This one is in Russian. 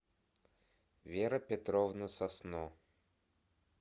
вера петровна сосно